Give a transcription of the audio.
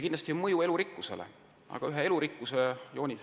Kindlasti on puuduseks ka halb mõju elurikkusele.